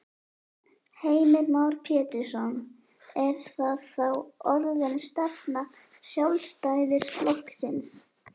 Heimir Már Pétursson: Er það þá orðin stefna Sjálfstæðisflokksins?